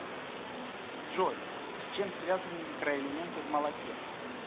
джой с чем связаны микроэлементы в молоке